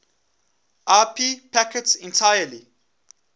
ip packets entirely